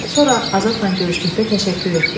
Sonra Azadla görüşdükdə təşəkkür etdim.